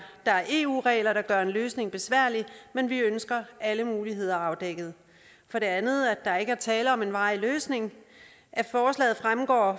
eu regler der gør en løsning besværlig men vi ønsker alle muligheder afdækket for det andet er der ikke tale om en varig løsning af forslaget fremgår